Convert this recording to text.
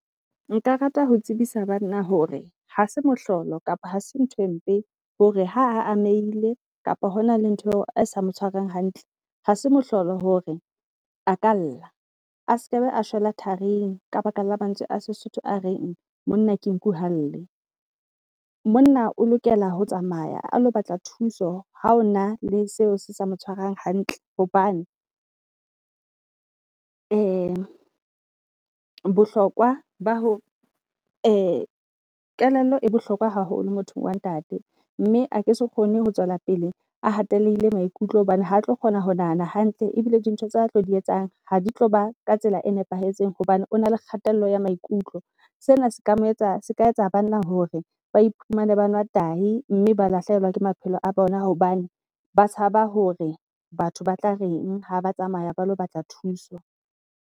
Nka rata ho tsebisa banna hore hase mohlolo kapa ha se ntho e mpe hore ha amehile kapo hona le ntho eo a sa mo hantle. Hase mohlolo hore a ka lla a skaba, a shwela tharing ka baka la mantswe a seSotho a reng monna ke nku ha lle. Monna o lokela ho tsamaya a lo batla thuso ha o na le seo se sa mo tshwarang hantle, hobane bohlokwa ba ho kelello e bohlokwa haholo mothong wa ntate. Mme a ke se kgone ho tswela pele a hatehile maikutlo hobane ha tlo kgona ho nahana hantle ebile di ntho tsa tlo di etsang ha di tlo ba ka tsela e nepahetseng hobane o na le kgatello ya maikutlo. Sena se ka mo etsa se ka etsa banna hore ba iphumane ba nwa tahi mme ba lahlehelwa ke maphelo a bona. Hobane ba tshaba hore batho ba tla reng ha ba tsamaya ba lo batla thuso.